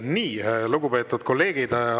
Nii, lugupeetud kolleegid!